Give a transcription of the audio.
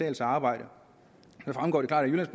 at arbejde så fremgår det klart af jyllands